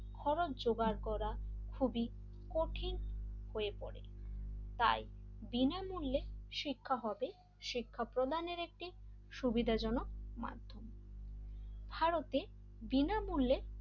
হওয়ার জোগাড় করা খুবই কঠিন হয়ে পড়ে তাই বিনামূল্যে শিক্ষা হবে শিক্ষা প্রধানের একটি সুবিধাজনক মাধ্যম ভারতে বিনামূল্যে,